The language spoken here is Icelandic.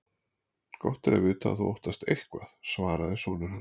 Gott er að vita að þú óttast eitthvað, svaraði sonur hans.